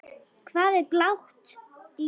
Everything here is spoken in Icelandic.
Hvað er blátt lítið?